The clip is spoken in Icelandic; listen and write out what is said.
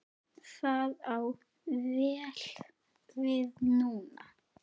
Það á vel við núna.